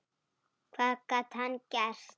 Hvað gat hann gert?